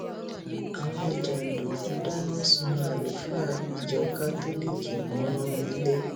àwọn jàǹdùkú dáná sun àlùfáà ìjọ kátólíìkì mọnú ilé